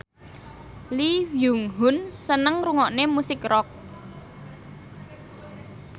Lee Byung Hun seneng ngrungokne musik rock